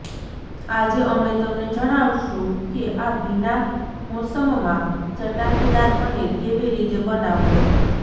આજે અમે તમને જણાવશું કે આ ભીના મોસમમાં ચટાકેદાર પનીર કેવી રીતે બનાવવુ